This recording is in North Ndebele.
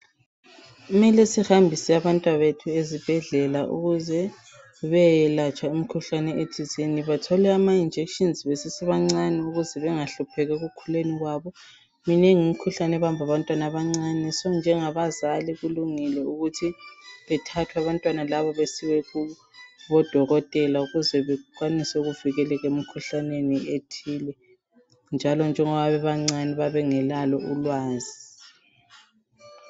Kumele sihambise abantwabethu ezibhedlela ukuze beyelatshwa imikhuhlane ethizeni bathole amajekiseni besesebancani ukuze bengahlupheki ekukhuleni kwabo, minengi imikhuhlane ebamba abantwana abancane, njengabazali kulungile ukuthi bathathwe abantwana labo besiwe kubodokotela ukuze bekwanise ukuvikeleka emkhuhlaneni ethile, njalo njengoba bebancane bayabe bengelalo ulwazi.